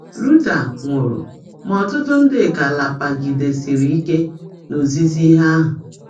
Luther nwụrụ, ma ọtụtụ ndị ka rapagidesiri ike n’ozizi ndị ahụ.